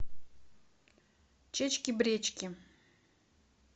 чечки бречки